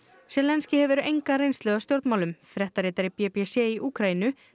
zelenskíj hefur enga reynslu af stjórnmálum fréttaritari b b c í Úkraínu